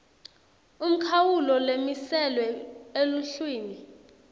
umkhawulo lomiselwe eluhlwini